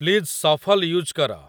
please shuffle use କର